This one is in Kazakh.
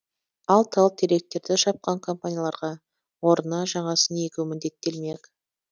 ал тал теректерді шапқан компанияларға орнына жаңасын егу міндеттелмек